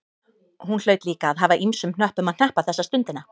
Hún hlaut líka að hafa ýmsum hnöppum að hneppa þessa stundina.